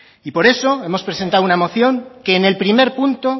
y por eso hemos presentado una moción que en el primer punto